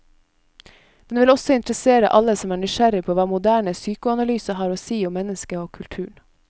Den vil også interessere alle som er nysgjerrig på hva moderne psykoanalyse har å si om mennesket og kulturen.